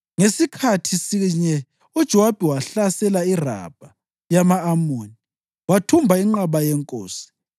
Ngasikhathi sinye uJowabi wahlasela iRabha yama-Amoni wathumba inqaba yenkosi.